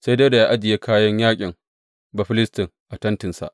Sai Dawuda ya ajiye kayan yaƙin Bafilistin a tentinsa.